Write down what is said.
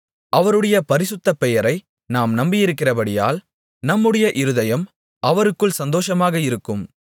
அவருடைய பரிசுத்த பெயரை நாம் நம்பியிருக்கிறபடியால் நம்முடைய இருதயம் அவருக்குள் சந்தோசமாக இருக்கும்